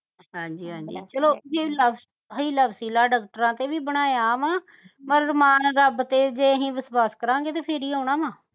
ਹਾਜੀ ਹਾਜੀ ਚਲੋ ਹੀਲਾ ਹੀਲਾ ਵਸੀਲਾ ਡਾਕ੍ਟਰ ਰੱਬ ਤੇ ਵੀ ਬਣਾਇਆ ਵਾ ਮਾਣ ਰੱਬ ਤੇ ਜੇ ਅਹੀ ਵਿਸ਼ਵਾਸ ਕਰਾਂਗੇ ਤੇ ਫਿਰ ਹੀ ਆਉਣਾ ਵਾ